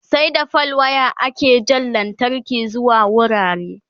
sai da fal wire ake Jan lantarki zuwa wurare